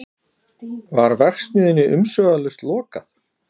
Var verksmiðjunni umsvifalaust lokað